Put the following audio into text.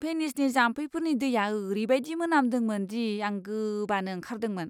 भेनिसनि जाम्फैफोरनि दैया ओरैबायदि मोनामदोंमोन दि आं गोबानो ओंखारदोंमोन!